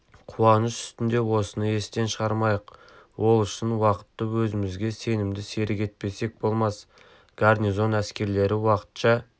қуаныш үстінде осыны естен шығармайық ол үшін уақытты өзімізге сенімді серік етпесек болмас гарнизон әскерлері уақытша